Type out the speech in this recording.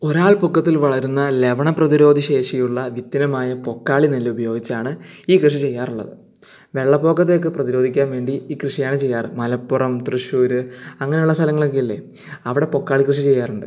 ഒരാൾ പൊക്കത്തിൽ വളരുന്ന ലവണ പ്രതിരോധശേഷിയുള്ള പൊക്കാളി നെല്ല് ഉപയോഗിച്ചാണ് ഈ കൃഷി ചെയ്യാറുള്ളത് വെള്ളപ്പൊക്ക പ്രതിരോധിക്കാൻ വേണ്ടി ഈ കൃഷിയാണ് ചെയ്യാറ് മലപ്പുറം തൃശൂർ അങ്ങനെയുള്ള സ്ഥലങ്ങൾ ഇല്ലേ അവിടെ പൊക്കാളി കൃഷി ചെയ്യാറുണ്ട്